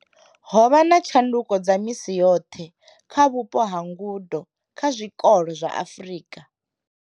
Ho vha na tshanduko dza misi yoṱhe kha vhupo ha ngudo kha zwikolo zwa Afrika.